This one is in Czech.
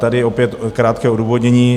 Tady opět krátké odůvodnění.